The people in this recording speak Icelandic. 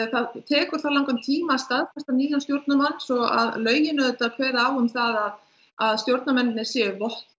það tekur það langan tíma að staðfesta nýjann stjórnarmann svo að lögin auðvitað kveða á um það að stjórnarmennirnir séu